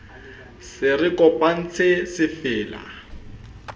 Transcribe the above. se re kopantse se fella